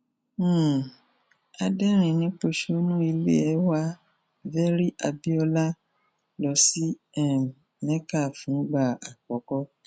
um adẹrìnínpọsonù ilé wa very abiola lọ sí um mecca fúngbà àkọkọ